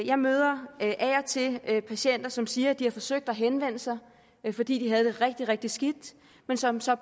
jeg møder af og til patienter som siger at de har forsøgt at henvende sig fordi de havde det rigtig rigtig skidt men som så